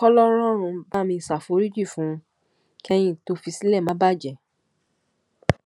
kòlòròrun bá mi ṣàforíjì fún un kẹyìn tó fi sílẹ má bàjẹ